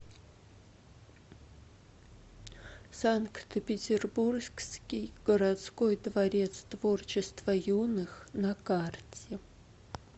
санкт петербургский городской дворец творчества юных на карте